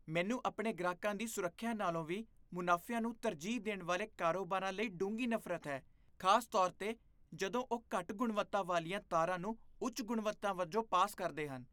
ਮੈਨੂੰ ਆਪਣੇ ਗ੍ਰਾਹਕਾਂ ਦੀ ਸੁਰੱਖਿਆ ਨਾਲੋਂ ਵੀ ਮੁਨਾਫ਼ਿਆਂ ਨੂੰ ਤਰਜੀਹ ਦੇਣ ਵਾਲੇ ਕਾਰੋਬਾਰਾਂ ਲਈ ਡੂੰਘੀ ਨਫ਼ਰਤ ਹੈ, ਖ਼ਾਸ ਤੌਰ 'ਤੇ ਜਦੋਂ ਉਹ ਘੱਟ ਗੁਣਵੱਤਾ ਵਾਲੀਆਂ ਤਾਰਾਂ ਨੂੰ ਉੱਚ ਗੁਣਵੱਤਾ ਵਜੋਂ ਪਾਸ ਕਰਦੇ ਹਨ